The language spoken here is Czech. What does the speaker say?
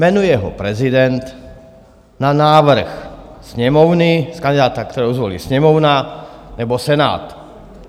Jmenuje ho prezident na návrh Sněmovny z kandidáta, kterého zvolí Sněmovna nebo Senát.